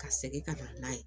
Ka segin ka taa n'a ye